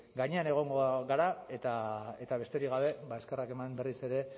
gainean egongo gara eta besterik gabe eskerrak eman berriz ere